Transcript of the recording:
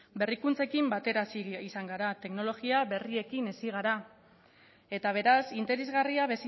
berrikuntzekin batera hazi izan gara teknologia berriekin hazi gara eta beraz interesgarria